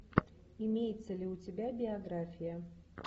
имеется ли у тебя биография